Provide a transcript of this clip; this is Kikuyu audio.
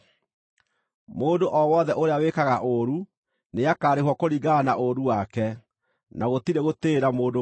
Mũndũ o wothe ũrĩa wĩkaga ũũru nĩakarĩhwo kũringana na ũũru wake, na gũtirĩ gũtĩĩra mũndũ maũthĩ.